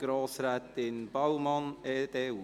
Grossrätin Baumann, EDU.